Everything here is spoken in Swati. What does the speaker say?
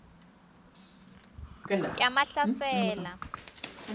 yamahlasela